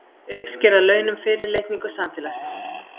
Uppsker að launum fyrirlitningu samfélagsins!